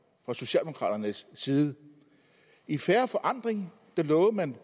fra socialdemokraternes side i fair forandring lovede man